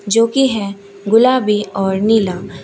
जो की है गुलाबी और नीला।